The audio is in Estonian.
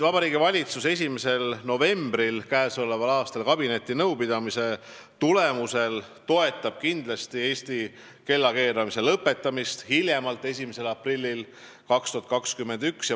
Vabariigi Valitsus toetab 1. novembri kabinetinõupidamise tulemusel kindlasti Eestis kellakeeramise lõpetamist hiljemalt 1. aprillil 2021.